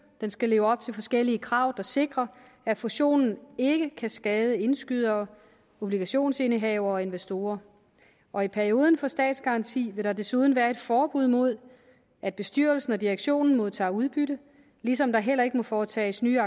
den skal leve op til forskellige krav der sikrer at fusionen ikke kan skade indskydere obligationsindehavere og investorer og i perioden for statsgaranti vil der desuden være et forbud mod at bestyrelsen og direktionen modtager udbytte ligesom der heller ikke må foretages nye